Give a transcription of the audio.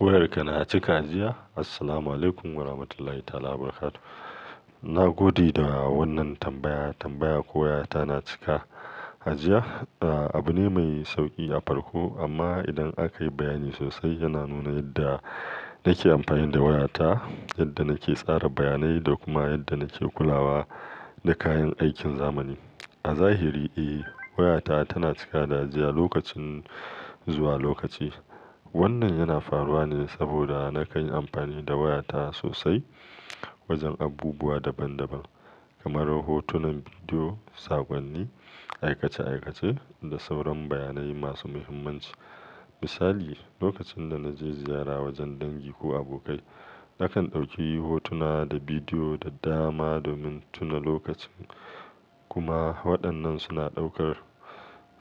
Wayarka na cika jiya? Assalamualaikum warahmatullahi ta ala wabarakatuh. Na gode da wannan tambaya. Tambaya ko wayata na cika ajiya, ah abu ne mai sauki a farko amma idan aka yi bayani sosai yana nuna yadda nake amfani da wayata, yadda nake tsara bayanai da kuma yadda nake kulawa da kayan aikin zamani. A zahiri, eh wayata tana cika da jiya lokacin zuwa lokaci. Wannan yana faruwa ne saboda na kan yi amfani da wayata sosai wajen abubuwa daban daban kamar hotunan bidiyo, saƙonni, aikace aikace da sauran bayanai masu muhimmanci. Misali, lokacin da na je ziyara wajen dangi ko abokai, nakan ɗauki hotuna da bidiyo da dama domin tuna lokacin kuma waɗannan suna ɗaukar